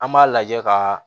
An b'a lajɛ ka